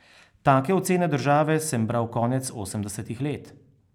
Take ocene države sem bral konec osemdesetih let.